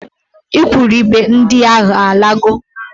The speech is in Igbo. Igwurube ndị ahụ ọ lago?